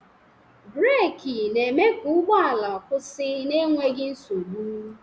Breeki na-eme ka ụgbọala kwụsị n'enweghi nsogbu.